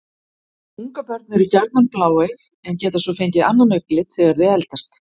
Ungabörn eru gjarnan bláeygð en geta svo fengið annan augnlit þegar þau eldast.